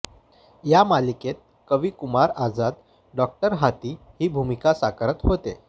या मालिकेत कवी कुमार आझाद डॉ हाथी ही भूमिका साकारत होते